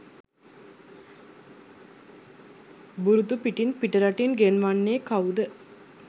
බුරුතු පිටින් පිටරටින් ගෙන්වන්නේ කව්ද?